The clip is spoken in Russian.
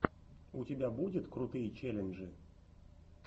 у тебя будет крутые челленджи